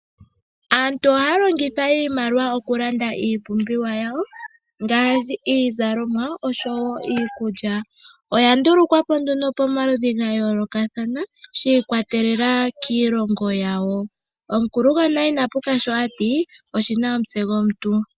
Aantu ohaya longitha iimaliwa okulanda iipumbiwa yawo iizalomwa niikulya. Oya ndulukwapo pomaludhi ga yoolokathana shi ikwatelela kiilongo yawo omukulu gonale inapuka sho ati oshina omutse gomuntu.